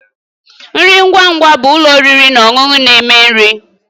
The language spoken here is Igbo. Nri ngwa ngwa bụ ụlọ oriri na ọṅụṅụ na- eme nri